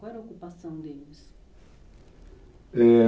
Qual era a ocupação deles? Ãh...